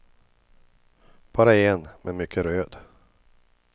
Bara en, men mycket röd.